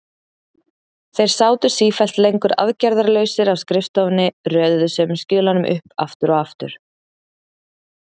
Þeir sátu sífellt lengur aðgerðarlausir á skrifstofunni, röðuðu sömu skjölunum upp aftur og aftur.